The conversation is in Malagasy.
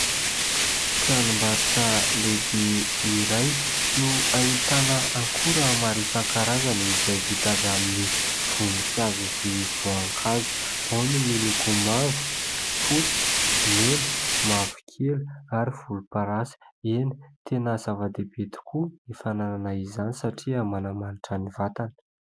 tranombaritra lehibe iray no hahintana ankora maro san-karazana izay vidavy amin'ny vononkazo sy voan-kazo ao ny miloko mavo fotsy mena mavo kely ary folom-parasa ena tena zava-debe tokoa ny fananana izany satria manamanitra ny vatana